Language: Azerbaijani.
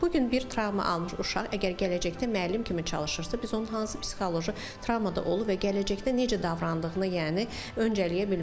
Bu gün bir travma almış uşaq əgər gələcəkdə müəllim kimi çalışırsa, biz onun hansı psixoloji travmada olub və gələcəkdə necə davrandığını yəni öncələyə bilmərik.